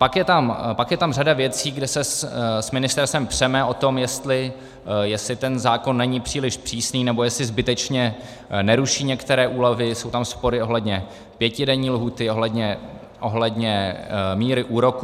Pak je tam řada věcí, kde se s ministerstvem přeme o to, jestli ten zákon není příliš přísný, nebo jestli zbytečně neruší některé úlevy, jsou tam spory ohledně pětidenní lhůty, ohledně míry úroků.